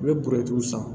I bɛ san